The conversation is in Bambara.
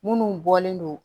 Minnu bɔlen don